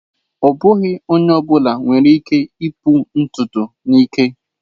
Ọ bụghị onye ọ bụla nwere ike ipu ntutu n'ike.